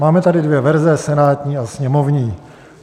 Máme tady dvě verze, senátní a sněmovní.